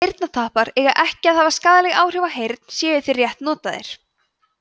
eyrnatappar eiga ekki að hafa skaðleg áhrif á heyrn séu þeir rétt notaðir